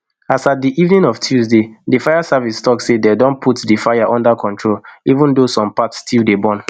as at di evening of tuesday di fire service tok say dey don put di fire under control even tho some parts still dey burn